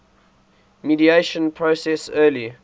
mediation process early